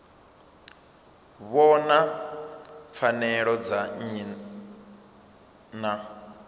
vhona pfanelo dza nnyi na